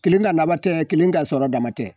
Kelen ŋa laban tɛ kelen ka sɔrɔ dama tɛ